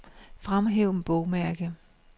Fremhæv bogmærke.